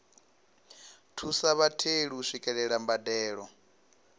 thusa vhatheli u swikelela mbadelo